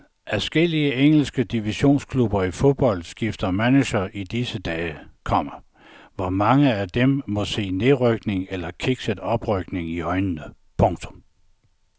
Adskillige engelske divisionsklubber i fodbold skifter manager i disse dage, komma hvor mange af dem må se nedrykning eller kikset oprykning i øjnene. punktum